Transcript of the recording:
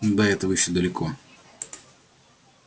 ну до этого ещё далеко